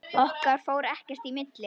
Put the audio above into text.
Okkar fór ekkert í milli.